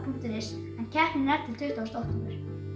punktur is en keppnin er til tuttugasta október